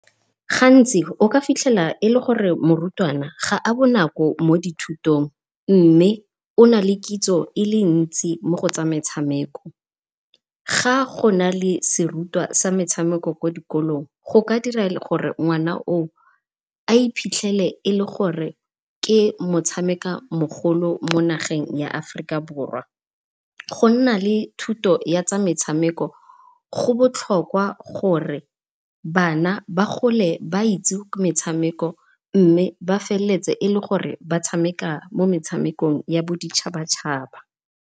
Gantsi o ka fitlhela e le gore morutwana ga a bonako mo dithutong mme o na le kitso e le ntsi mo go tsa metshameko. Ga go na le serutwa sa metshameko kwa dikolong go ka dira gore ngwana o o a iphitlhele e le gore ke motshameka mogolo mo nageng ya Aforika Borwa. Go nna le thuto ya tsa metshameko go botlhokwa gore bana ba gole ba itse metshameko, mme ba feleletse e le gore ba tshameka mo metshamekong ya boditšhaba-tšhaba.